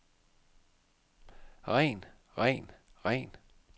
ren ren ren